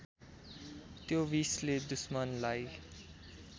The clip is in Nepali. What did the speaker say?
त्यो विषले दुश्मनलाई